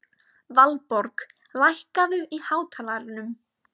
Valborg, lækkaðu í hátalaranum.